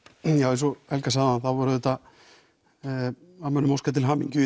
eins og Helga sagði áðan þá voru menn að óska til hamingju í